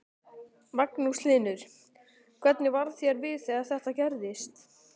Magnús Hlynur: Hvernig varð þér við þegar þetta gerðist?